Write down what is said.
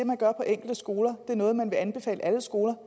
man gør på enkelte skoler og er noget man vil anbefale alle skoler